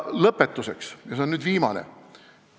Lõpetuseks, ja see on nüüd viimane asi.